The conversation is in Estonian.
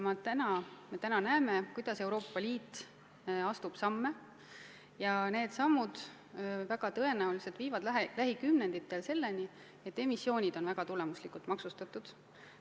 Me näeme praegu, et Euroopa Liit astub samme, ja need sammud väga tõenäoliselt viivad lähikümnenditel selleni, et emissioonid on väga tulemuslikult maksustatud.